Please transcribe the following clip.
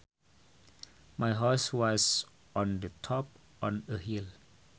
My house was on the top of a hill